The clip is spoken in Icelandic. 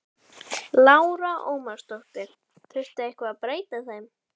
Lára Ómarsdóttir: Þurfti eitthvað að breyta þeim?